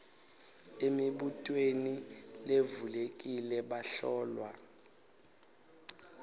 emibutweni levulekile bahlolwa